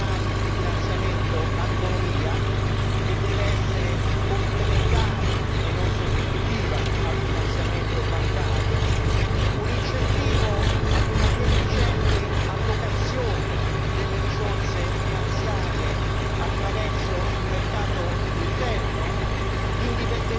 può consentire una maggiore diversificazione dei canali di finanziamento all'economia, che deve essere complementare e non sostitutiva al finanziamento bancario, un incentivo a una più efficiente allocazione delle risorse finanziarie